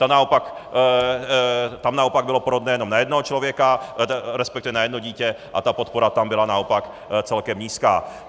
Tam naopak bylo porodné jenom na jednoho člověka, respektive na jedno dítě, a ta podpora tam byla naopak celkem nízká.